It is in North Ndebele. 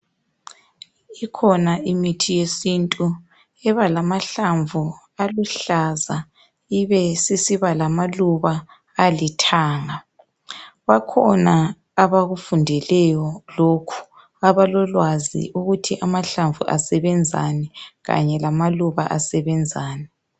Ikhona imithi yesintu eba lamahlamvu aluhlaza ibesisiba lamaluba alithanga, bakhona abakufundeleyo lokhu, abalolwazi ukuthi amahlamvu asebenzani kanye lamaluba asebenzani .